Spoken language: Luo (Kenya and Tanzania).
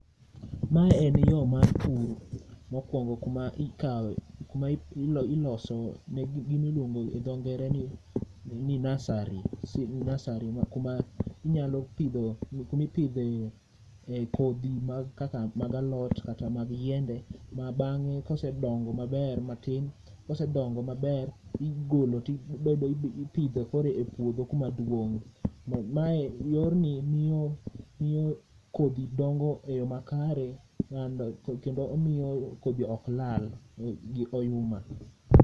Ma en yo mar pur, mokwongo kuma ikawe, kuma iloso ne gimiluongo gi dho Ngere ni nursery, nasari. Kuma inyalo pidho, kumipidhe e kodhi mag kaka mag alot kata mag yiende. Ma bang'e kosedongo maber matin, kosedongo maber igolo ti ibedo ipidho koro e puodho kuma duong'. Mae yorni miyo kodhi dongo e yo makare kendo omiyo kodhi ok lal gi oyuma.